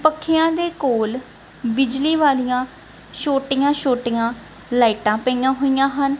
ਪੱਖਿਆਂ ਦੇ ਕੋਲ ਬਿਜਲੀ ਵਾਲੀਆਂ ਛੋਟੀਆਂ ਛੋਟੀਆਂ ਲਾਈਟਾਂ ਪਈਆਂ ਹੋਈਆਂ ਹਨ।